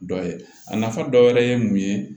Dɔ ye a nafa dɔ wɛrɛ ye mun ye